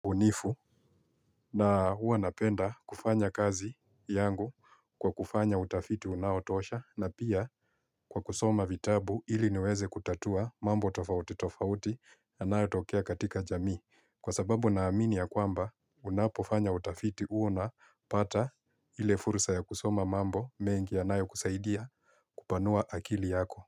Ubunifu na huwa napenda kufanya kazi yangu kwa kufanya utafiti unaotosha na pia kwa kusoma vitabu ili niweze kutatua mambo tofauti tofauti yanayotokea katika jamii kwa sababu naamini ya kwamba unapofanya utafiti huo napata ile fursa ya kusoma mambo mengi yanayokusaidia kupanua akili yako.